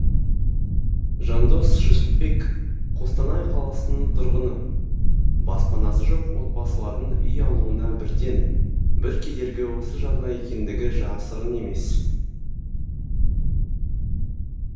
жандос жүсіпбек қостанай қаласының тұрғыны баспанасы жоқ отбасылардың үй алуына бірден бір кедергі осы жарна екендігі жасырын емес